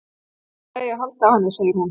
Það er allt í lagi að halda á henni segir hún.